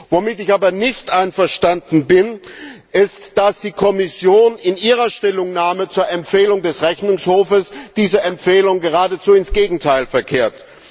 Womit ich aber nicht einverstanden bin, ist, dass die Kommission in ihrer Stellungnahme zur Empfehlung des Rechnungshofs diese Empfehlung geradezu ins Gegenteil verkehrt.